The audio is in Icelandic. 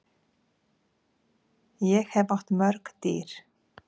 Ég hef átt mörg dýr.